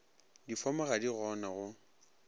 difomo ga di gona go